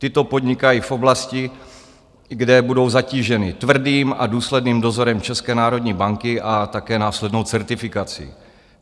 Tyto podnikají v oblasti, kde budou zatíženy tvrdým a důsledným dozorem České národní banky a také následnou certifikací.